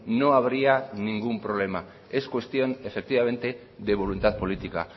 no habría ningún problema es cuestión efectivamente de voluntad política